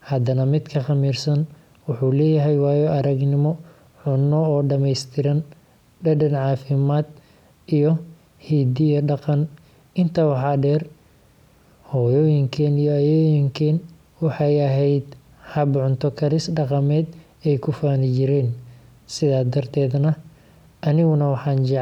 haddana midka khamiirsan wuxuu leeyahay waayo-aragnimo cunno oo dhameystiran – dhadhan, caafimaad, iyo hidde dhaqan. Intaa waxaa dheer, hooyooyinkeen iyo ayeeyooyinkeen waxay ahayd hab-cunto karis dhaqameed ay ku faani jireen, sidaas darteedna, aniguna waxaan jecelahay.